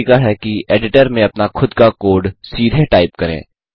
दूसरा तरीका है कि एडिटर में अपना खुद का कोड सीधे टाइप करें